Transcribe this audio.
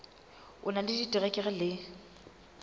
o na le diterekere le